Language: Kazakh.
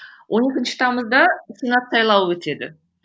он екінші тамызда сенат сайлауы өтеді